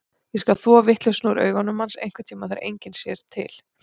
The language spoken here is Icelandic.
Ég skal þvo vitleysuna úr augum hans, einhverntíma þegar enginn sér til.